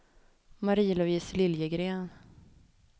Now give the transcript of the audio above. Marie-Louise Liljegren